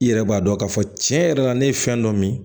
I yɛrɛ b'a dɔn k'a fɔ tiɲɛ yɛrɛ la ne ye fɛn dɔ min